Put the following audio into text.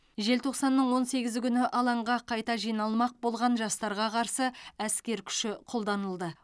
желтоқсанның он сегізі күні алаңға қайта жиналмақ болған жастарға қарсы әскер күші қолданылды